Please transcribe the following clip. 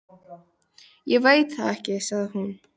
Ég veit það ekki sagði hún.